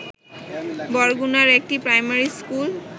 বরগুনার একটি primary school